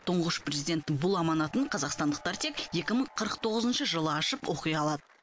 тұңғыш президенттің бұл аманатын қазақстандықтар тек екі мың қырық тоғызыншы жылы ашып оқи алады